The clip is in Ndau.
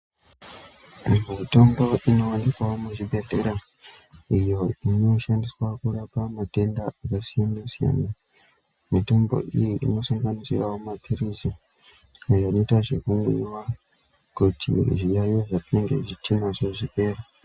Mu mitombo ino wanikwawo mu zvibhedhlera iyo ino shandiswa kurapa matenda aka siyana siyana mitombo iyi ino sanganisira mapirizi ayo anoita zveku mwiwa kuti zviyayiyo zva tinenge tinazvo zvipere.